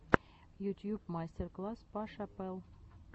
ютьюб мастер класс паша пэл